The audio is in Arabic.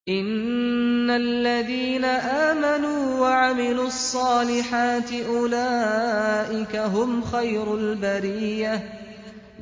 إِنَّ الَّذِينَ آمَنُوا وَعَمِلُوا الصَّالِحَاتِ أُولَٰئِكَ هُمْ خَيْرُ الْبَرِيَّةِ